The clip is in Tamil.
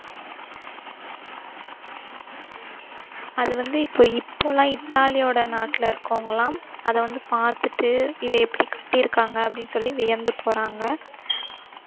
அது வந்து இப்ப இப்போ எல்லாம் இத்தாலியோட நாட்டுல இருக்கிறவங்கல்லாம் அத வந்து பாத்துட்டு இதை எப்படி கட்டியிருக்காங்க அப்படின்னு சொல்லி வியந்து போறாங்க